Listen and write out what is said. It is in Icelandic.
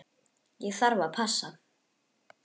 Ég þarf að passa.